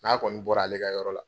N'a kɔni bɔra ale ka yɔrɔ la,